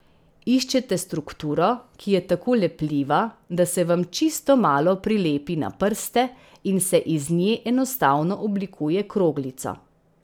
Iščete strukturo, ki je tako lepljiva, da se vam čisto malo prilepi na prste in se iz nje enostavno oblikuje kroglico.